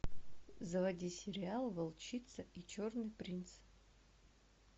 заводи сериал волчица и черный принц